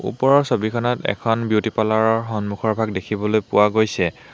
ওপৰৰ ছবিখনত এটা বিউটি পাৰ্লাৰ ৰ সন্মুখৰভাগ দেখিবলৈ পোৱা গৈছে।